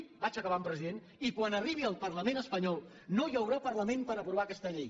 vaig acabat president i quan arribi al parlament espanyol no hi haurà parlament per aprovar aquesta llei